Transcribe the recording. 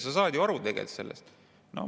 Sa saad ju sellest tegelikult aru?"